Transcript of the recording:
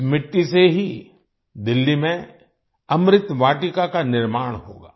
इस मिट्टी से ही दिल्ली में अमृत वाटिका का निर्माण होगा